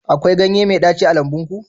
akwai ganye mai ɗaci a lambun ku